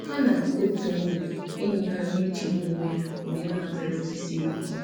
Ha na otu enyi enyi ha nọ na-echegbu onwe ha mgbe ha natara ozi siri ike.